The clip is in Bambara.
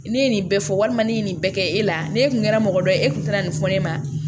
Ne ye nin bɛɛ fɔ walima ne ye nin bɛɛ kɛ e la ne kun kɛra mɔgɔ dɔ ye e kun tɛna nin fɔ ne ɲɛna